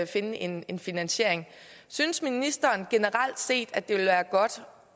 finde en en finansiering synes ministeren generelt set at det vil være godt